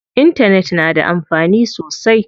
Intanet na da amfani sosai.